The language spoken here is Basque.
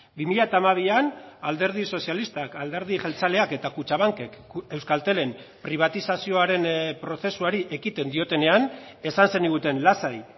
bi mila hamabian alderdi sozialistak alderdi jeltzaleak eta kutxabankek euskaltelen pribatizazioaren prozesuari ekiten diotenean esan zeniguten lasai